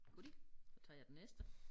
Goodie så tager jeg den næste